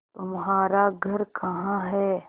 तुम्हारा घर कहाँ है